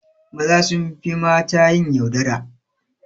Maza sunfi mata yin yaudara